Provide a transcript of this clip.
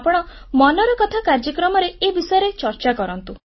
ଆପଣ ମନ କି ବାତ କାର୍ଯ୍ୟକ୍ରମରେ ଏ ବିଷୟରେ ଚର୍ଚ୍ଚା କରନ୍ତୁ